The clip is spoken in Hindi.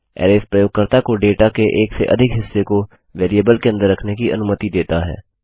अरैज़ प्रयोगकर्ता को डेटा के एक से अधिक हिस्से को वेरिएबल के अन्दर रखने की अनुमति देता है